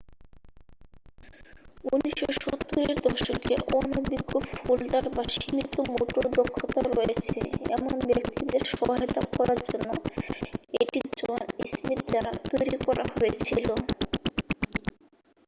1970 এর দশকে অনভিজ্ঞ ফোল্ডার বা সীমিত মোটর দক্ষতা রয়েছে এমন ব্যাক্তিদের সহায়তা করার জন্য এটি জন স্মিথ দ্বারা তৈরি করা হয়েছিল